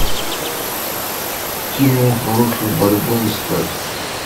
кино хорошая борьба искать